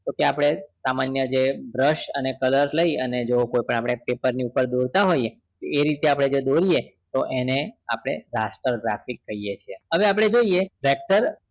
Okay સામાન્ય brush અને color લઈને પેપર ની ઉપર આપણે દોરતા હોઈએ એ રીતે અઆપને જે દોરતા હોઈએ તો એને આપણે raster graphics કહીએ છીએ હવે આપણે જોઈએ vector